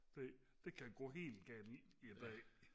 det det kan gå helt galt i dag